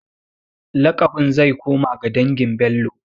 Laƙabin zai koma ga dangin Bello.